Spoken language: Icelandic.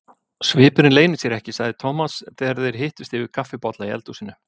Svipurinn leynir sér ekki, sagði Thomas þegar þeir hittust yfir kaffibolla í eldhúsinu.